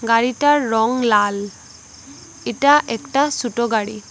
গাড়িটার রং লাল এটা একটা সোটো গাড়ি।